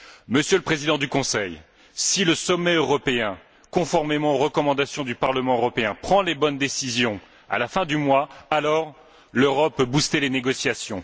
Monsieur le Président du Conseil, si le sommet européen, conformément aux recommandations du Parlement européen, prend les bonnes décisions à la fin du mois, alors l'Europe peut booster les négociations.